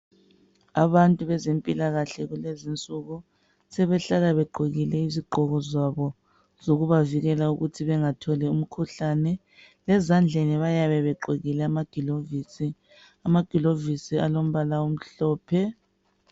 Abantu bezempilakahle kulezinsuku sebehlala begqokile izigqoko zabo zokubavikela ukuthi bengatholi umkhuhlane. Ezandleni bayabe begqokile amagilovisi. Amgilovisi alombala omhlophe